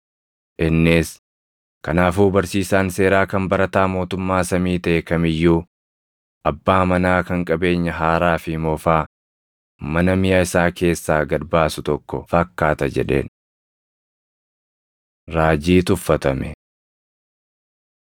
Innis, “Kanaafuu barsiisaan seeraa kan barataa mootummaa samii taʼe kam iyyuu abbaa manaa kan qabeenya haaraa fi moofaa mana miʼa isaa keessaa gad baasu tokko fakkaata” jedheen. Raajii Tuffatame 13:54‑58 kwf – Mar 6:1‑6